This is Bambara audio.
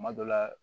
Kuma dɔ la